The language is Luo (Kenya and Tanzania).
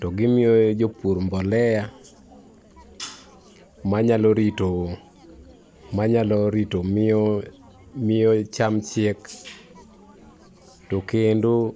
to gimiyo jopur mbolea, manyalo rito, manyalo rito, miyo, miyo cham chiek. To kendo,